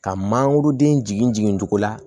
Ka mangoroden jigin jigin cogo la